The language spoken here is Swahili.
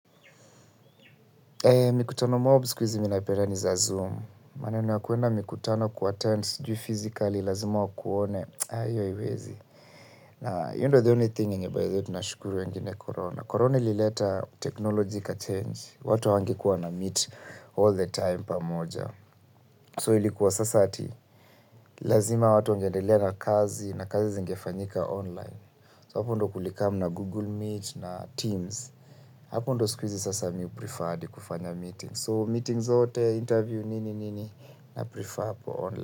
Mkutano mob siku hizi mimi napenda ni za Zoom. Maneno ya kuenda mkutano kuatend sijui fizikali, lazima wakuone. Aah hiyo haiwezi. Na hiyo ndiyo the only thing yenye by the way tunashukuru wengine Corona. Corona ilileta technologi ikachange. Watu hawangekuwa wanameet all the time pamoja. So ilikuwa sasa ati lazima watu wangeendelea na kazi na kazi zingefanyika online. So hapo ndo kulikamu na Google Meet na Teams. Hapo ndiyo siku hizi sasa mimi huprifaa hadi kufanya meetings. So meeting zote, interview, nini nini, na prefer hapo online.